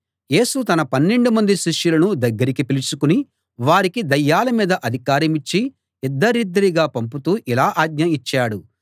యేసు తన పన్నెండుమంది శిష్యులను దగ్గరికి పిలుచుకుని వారికి దయ్యాల మీద అధికారమిచ్చి ఇద్దరిద్దరిగా పంపుతూ ఇలా ఆజ్ఞ ఇచ్చాడు